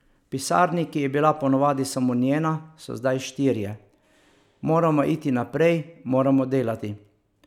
V pisarni, ki je bila po navadi samo njena, so zdaj štirje: 'Moramo iti naprej, moramo delati.